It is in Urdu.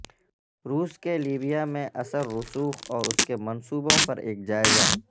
روس کے لیبیا میں اثر رسوخ اور اس کے منصوبوں پر ایک جائزہ